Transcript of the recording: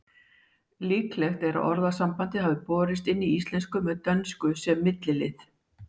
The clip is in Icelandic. Líklegt er að orðasambandið hafi borist inn í íslensku með dönsku sem millilið.